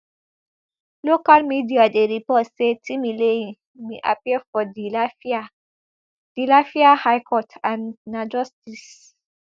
local media dey report say timileyin bin appear for di lafia di lafia high court and na justice